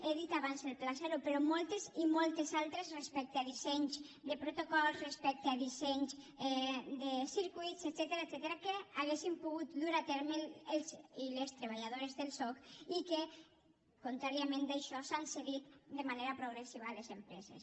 he dit abans el pla zero però moltes i moltes altres respecte a dissenys de protocols respecte a dissenys de circuïts etcètera que haurien pogut dur a terme els i les treballadores del soc i que contràriament a això s’han cedit de manera progressiva a les empreses